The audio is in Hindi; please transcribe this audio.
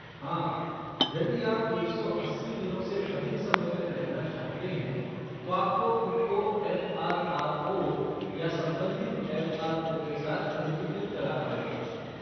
हाँ, यदि आप एक सौ अस्सी दिनों से अधिक समय तक रहना चाहते हैं, तो आपको खुद को एफ़ आर आर ओ या संबंधित एफ़ आर ओ के साथ पंजीकृत कराना होगा।